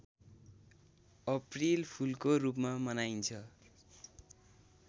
अप्रिलफुलको रूपमा मनाइन्छ